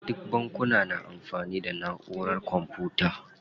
Duka bankuna na amfani da naʼurar kwamfuta.